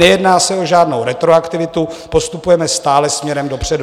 Nejedná se o žádnou retroaktivitu, postupujeme stále směrem dopředu.